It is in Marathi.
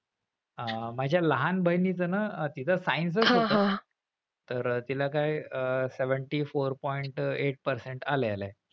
अह माझ्या लहान बहिणीचं ना science च होत , तर तिला काय अह seventy-four point eight percent आलेले आहे.